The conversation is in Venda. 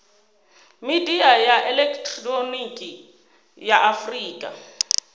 midia ya elekihironiki ya afurika